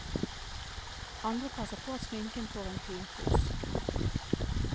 Andre passer på at sminken får en finpuss.